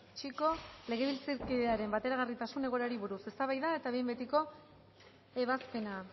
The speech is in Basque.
chico legebiltzarkidearen bateragarritasun egoerari buruz eztabaida eta behin betiko ebazpena